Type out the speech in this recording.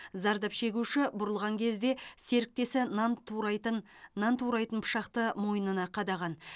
зардап шегуші бұрылған кезде серіктесі нан турайтын нан турайтын пышақты мойнына қадаған